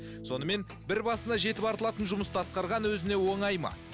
сонымен бір басына жетіп артылатын жұмысты атқарған өзіне оңай ма